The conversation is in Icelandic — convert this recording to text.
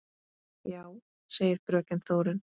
Já, segir fröken Þórunn.